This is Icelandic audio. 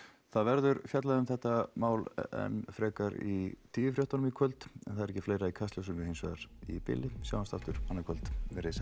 það verður fjallað um þetta mál enn frekar í tíufréttum í kvöld en það er ekki fleira í Kastljósinu hins vegar í bili sjáumst aftur annað kvöld veriði sæl